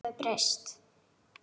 Hún hefur breyst.